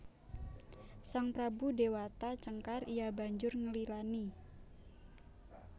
Sang prabu Déwata Cengkar iya banjur nglilani